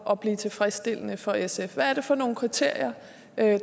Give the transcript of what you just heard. at blive tilfredsstillende for sf hvad er det for nogle kriterier